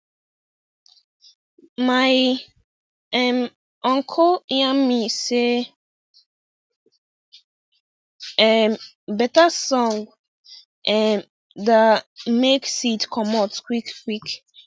my um uncle yan me say um better song um da make seed comot quick quick